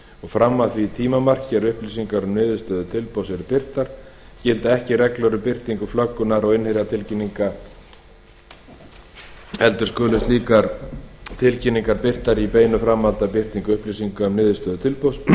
fram að því tímamarki er upplýsingar um niðurstöðu tilboðs eru birtar gilda ekki reglur um birtingu flöggunar og innherjatilkynninga heldur skulu slíkar tilkynningar birtar í beinu framhaldi af birtingu upplýsinga um niðurstöður tilboðsins